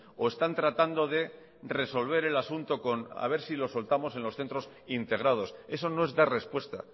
o están tratando de resolver el asunto con a ver si lo soltamos en los centros integrados eso no es dar respuesta